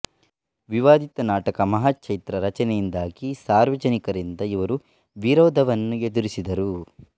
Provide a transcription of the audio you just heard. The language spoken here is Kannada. ವಿವಾದಿತ ನಾಟಕ ಮಹಾಚೈತ್ರ ರಚನೆಯಿಂದಾಗಿ ಸಾರ್ವಜನಿಕರಿಂದ ಇವರು ವಿರೋಧವನ್ನು ಎದುರಿಸಿದರು